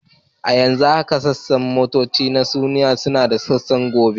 A yanzu haka tashar motoci a Kano suna da wasu sassan da aka keɓe.